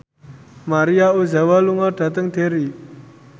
Maria Ozawa lunga dhateng Derry